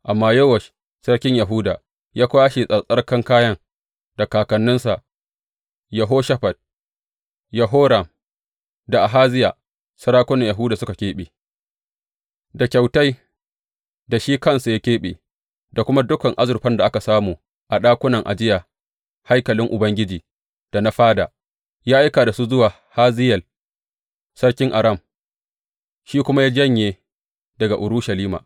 Amma Yowash sarkin Yahuda ya kwashe tsarkakan kayan da kakanninsa, Yehoshafat, Yehoram da Ahaziya, sarakunan Yahuda suka keɓe, da kyautai da shi kansa ya keɓe, da kuma dukan azurfan da aka samu a ɗakunan ajiya haikalin Ubangiji da na fada, ya aika da su wa Hazayel sarkin Aram, shi kuma ya janye daga Urushalima.